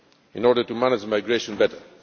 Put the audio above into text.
in order to manage migration better.